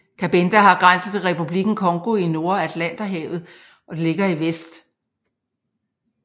Cabinda har grænse til Republikken Congo i nord og Atlanterhavet ligger i vest